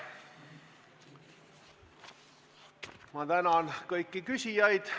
Ma tänan kõiki küsijaid!